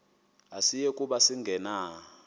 asiyi kuba sangena